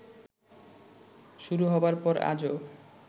শুরু হবার পর আজও